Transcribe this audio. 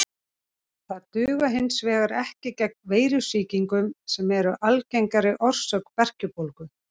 Þau duga hins vegar ekki gegn veirusýkingum sem eru algengari orsök berkjubólgu.